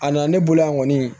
A nana ne bolo yan kɔni